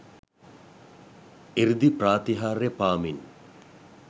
ඍදි ප්‍රාතිහාර්ය පාමින්